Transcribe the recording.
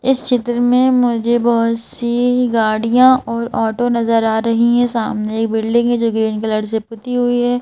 इस चित्र में मुझे बहुत सी गाड़ियां और ऑटो नजर आ रही है सामने एक बिल्डिंग है जो ग्रीन कलर से पुती हुई है।